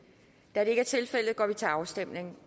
da det ikke er tilfældet går vi til afstemning